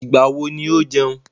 Ìgbà wo ni ó jẹun?